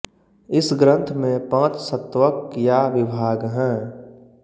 इस ग्रंथ में पाँच स्तवक या विभाग हैं